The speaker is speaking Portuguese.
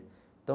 Então...